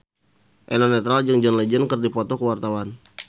Eno Netral jeung John Legend keur dipoto ku wartawan